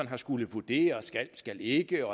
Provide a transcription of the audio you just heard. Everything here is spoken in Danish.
har skullet vurdere det skalskal ikke